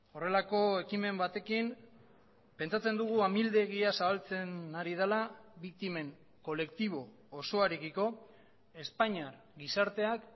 horrelako ekimen batekin pentsatzen dugu amildegia zabaltzen ari dela biktimen kolektibo osoarekiko espainiar gizarteak